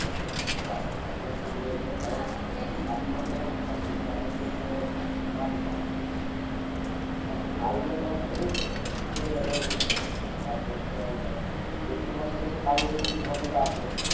হ্যাঁ হ্যাঁ একদম ঠিক বলেছো কারণ এখন ধর কি মাস চলছে এখন চলছে মাঘ মাস হাঁ ফাল্গুন মাস থেকে শুরু হয়ে যাবে বৃষ্টি তারপর জল ঝড় চৈত্র মাসে তো কালবৈশাখী ঝড় যেটা আসে,